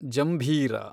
ಜಂಭೀರ